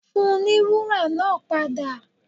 Fùn ní wùra naa pada!